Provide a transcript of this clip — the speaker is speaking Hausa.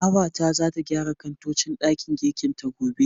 Babata zata gyara kantocin ɗakin girkin ta, gobe.